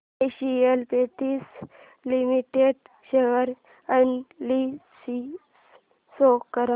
Asian paints limited share analysis show कर